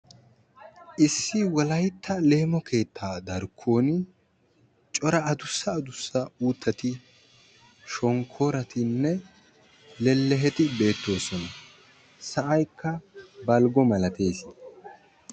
issi wolaytta leemo keetta darkkoni shonkkoratine leleheti beettosona sa"aykka balgo missatesi.